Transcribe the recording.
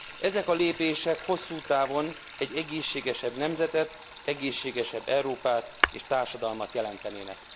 Ezek a lépések hosszú távon egy egészségesebb nemzetet, egészségesebb Európát és társadalmat jelentenének.